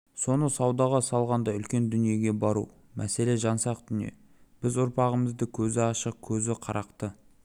соны саудаға салғандай үлкен дүниеге бару мәселе жансақ дүние біз ұрпағымызды көзі ашық көзі қарақты